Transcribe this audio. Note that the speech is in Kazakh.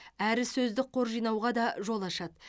әрі сөздік қор жинауға да жол ашады